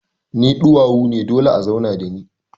Ni duwawu ne dole a zauna da ni.